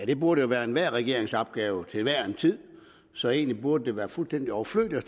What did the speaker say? det burde jo være enhver regerings opgave til hver en tid så egentlig burde det være fuldstændig overflødigt at